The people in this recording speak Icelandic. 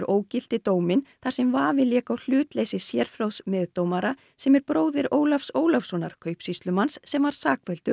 ógilti dóminn þar sem vafi lék á hlutleysi sérfróðs meðdómara sem er bróðir Ólafs Ólafssonar kaupsýslumanns sem var sakfelldur